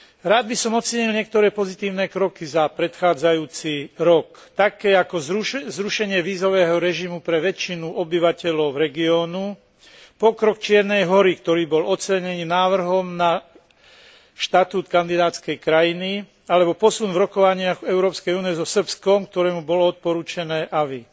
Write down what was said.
Rád by som ocenil niektoré pozitívne kroky za predchádzajúci rok, napr. zrušenie vízového režimu pre väčšinu obyvateľov regiónu, pokrok Čiernej Hory, ktorý bol ocenený návrhom na štatút kandidátskej krajiny, alebo posun v rokovaniach Európskej únie so Srbskom, ktorému bolo odporučené avis.